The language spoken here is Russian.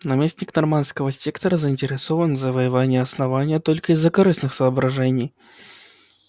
наместник норманского сектора заинтересован в завоевании основания только из корыстных соображений